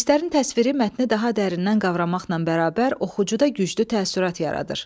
Hisslərin təsviri mətni daha dərindən qavramaqla bərabər, oxucuda güclü təəssürat yaradır.